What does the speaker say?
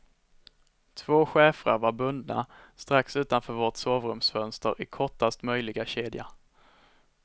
Två schäfrar var bundna strax utanför vårt sovrumsfönster i kortast möjliga kedja.